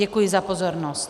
Děkuji za pozornost.